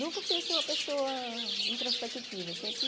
Nunca fui uma pessoa introspectiva, sempre...